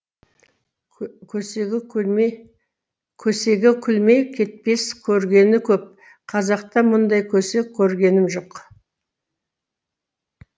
көсеге күлмей кетпес көргені көп қазақта мұндай көсе көргенім жоқ